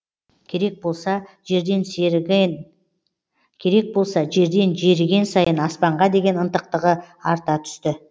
керек болса жерден жеріген сайын аспанға деген ынтықтығы арта түсті